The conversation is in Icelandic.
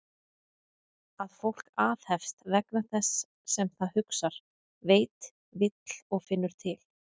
Að fólk aðhefst vegna þess sem það hugsar, veit, vill og finnur til?